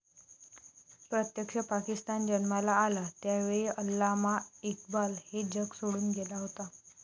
प्रत्यक्ष पाकिस्तान जन्माला आला, त्यावेळी अल्लामा इक्बाल हे जग सोडून गेला होता.